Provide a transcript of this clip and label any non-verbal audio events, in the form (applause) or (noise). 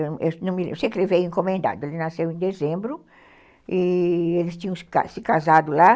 Eu (unintelligible) sei que ele veio encomendado, ele nasceu em dezembro e eles tinham se casado lá.